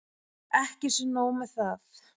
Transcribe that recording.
Ekki sé nóg með það.